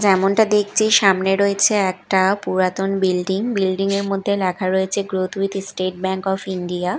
যেমনটা দেখছি সামনে রয়েছে একটা পুরাতন বিল্ডিং বিল্ডিং -এর মধ্যে লেখা রয়েছে growth with state bank of India.